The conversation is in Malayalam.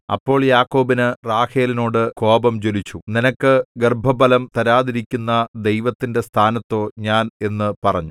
അപ്പോൾ യാക്കോബിന് റാഹേലിനോടു കോപം ജ്വലിച്ചു നിനക്ക് ഗർഭഫലം തരാതിരിക്കുന്ന ദൈവത്തിന്റെ സ്ഥാനത്തോ ഞാൻ എന്നു പറഞ്ഞു